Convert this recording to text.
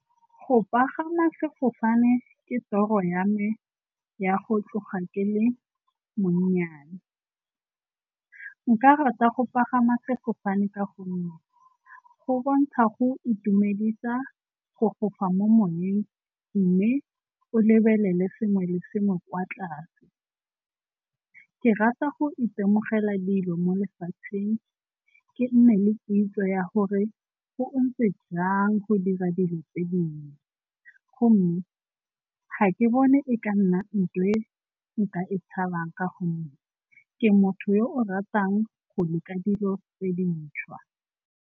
Go pagama sefofane ke toro ya me ya go tloga ke le monyana. Nka rata go pagama sefofane ka gonne go bontsha go itumedisa go fofa mo moweng mme o lebelele sengwe le sengwe kwa tlase. Ke rata go itemogela dilo mo lefatsheng ke nne le kitso ya gore go ntse jang go dira dilo tse dingwe, gomme ga ke bone e ka nna nthwe nka e tshabang ka gonne ke motho yo o ratang go leka dilo tse dintšhwa.